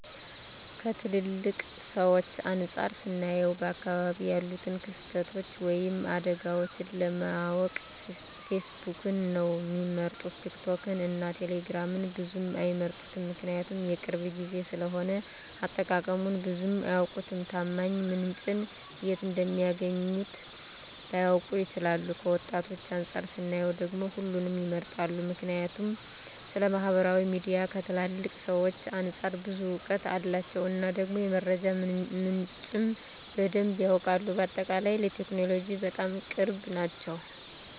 ከትላልቅ ሰዎች አንፃር ስናየው በአካባቢው ያሉትን ክስተቶች ወይም አደጋዎችን ለማወቅ ፌስቡክን ነው ሚመርጡት ቲክቶክን እና ቴሌግራምን ብዙም አይመርጡትም ምክንያቱም የቅርብ ጊዜ ስለሆነ አጠቃቀሙን ብዙም አያውቁትም፣ ታማኝ ምንጭን የት እንደሚያገኙት ላያውቁ ይችላሉ። ከወጣቶች አንፃር ስናየው ደግሞ ሁሉንም ይመርጣሉ ምክንያቱም ስለማህበራዊ ሚዲያ ከትላልቅ ሰዎች አንፃር ብዙ እውቀት አላቸው እና ደግሞ የመረጃ ምንጩም በደንብ ያውቃሉ። በአጠቃላይ ለቴክኖሎጂ በጣም ቅርብ ናቸው